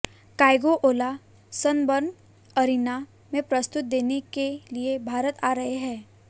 Kygo Ola Sunburn Arena में प्रस्तुति देने के लिए भारत आ रहे हैं